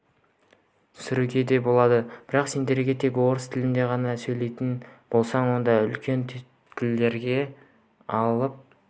сүруге де болады бірақ сен тек орыс тілінде ғана сөйлейтін болсаң онда үлкен түйткілдерге тап